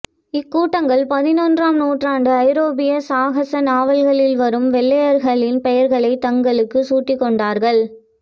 இக்கூட்டங்கள் பதினெட்டாம்நூற்றாண்டு ஐரோப்பிய சாகச நாவல்களில் வரும் கொள்ளையர்களின் பெயர்களை தங்களுக்குச் சூட்டிக்கொண்டார்கள்